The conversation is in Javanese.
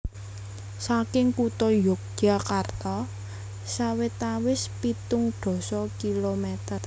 Saking kutha Yogyakarta sawetawis pitung dasa kilometer